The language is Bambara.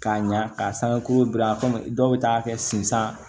K'a ɲa k'a san ko gilan dɔw bɛ taa kɛ sen san